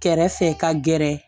Kɛrɛfɛ ka gɛrɛ